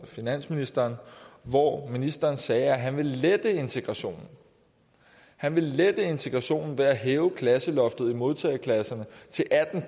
finansministeren hvor ministeren sagde at han vil lette integrationen han vil lette integrationen ved at hæve klasseloftet i modtageklasserne til atten